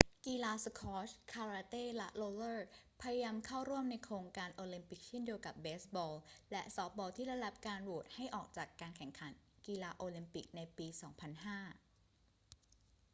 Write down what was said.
กีฬาสควอช คาราเต้ และโรลเลอร์ พยายามเข้าร่วมในโครงการโอลิมปิกเช่นเดียวกับเบสบอลและซอฟต์บอลที่ได้รับการโหวตให้ออกจากการแข่งขันกีฬาโอลิมปิกในปี 2005